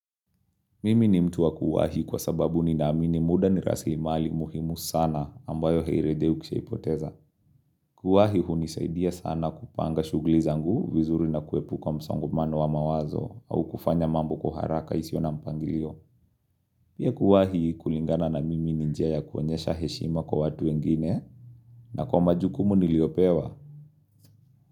Mimi ni mtu wa kuwahi kwa sababu ninaamini muda ni rasimali muhimu sana ambayo hairejei ukishaipoteza. Kuwahi hunisaidia sana kupanga shughuli zangu vizuri na kuepuka msongamano wa mawazo au kufanya mambo kwa haraka isio na mpangilio. Pia kuwahi kulingana na mimi ni njia ya kuonyesha heshima kwa watu wengine na kwa majukumu niliopewa.